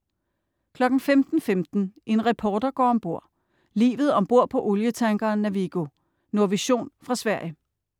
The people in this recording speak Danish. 15.15 En reporter går om bord. Livet om bord på olietankeren Navigo. Nordvision fra Sverige.